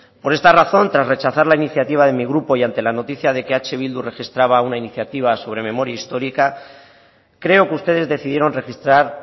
por esta razón tras rechazar la iniciativa de mi grupo y ante la noticia de que eh bildu registraba una iniciativa sobre memoria histórica creo que ustedes decidieron registrar